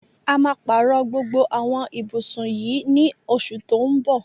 A máa pàárọ̀ gbogbo àwọn ibùsùn yìí ní oṣù tó ń bọ̀.